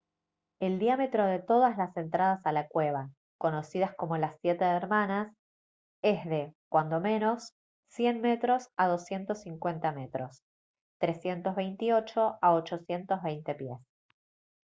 el diámetro de todas las entradas a la cueva conocidas como «las siete hermanas» es de cuando menos 100 m a 250 m 328 a 820 pies